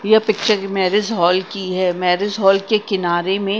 यह पिक्चर की marriage hall की है मैरिज हॉल के किनारे में--